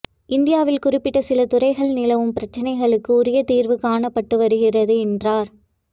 இந்தியாவில் குறிப்பிட்ட சில துறைகளில் நிலவும் பிரச்னைகளுக்கு உரிய தீர்வு காணப்பட்டு வருகிறது என்றார்